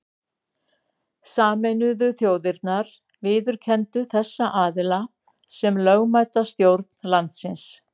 Sameinuðu þjóðirnar viðurkenndu þessa aðila sem lögmæta stjórn landsins.